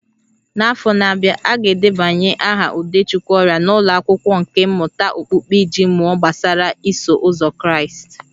N'afọ na-abịa, a ga-edebanye aha Udechukwu ọrịa n'ụlọ akwụkwọ nkà mmụta okpukpe iji mụọ gbasara Iso Ụzọ Kraịst